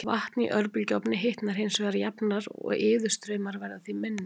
Vatn í örbylgjuofni hitnar hins vegar jafnar og iðustraumar verða því minni.